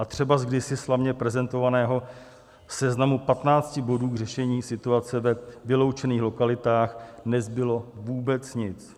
A třeba z kdysi slavně prezentovaného seznamu 15 bodů k řešení situace ve vyloučených lokalitách nezbylo vůbec nic.